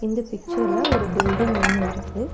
இந்த பிக்ச்சர் ல ஒரு பில்டிங் ஒன்னு இருக்கு.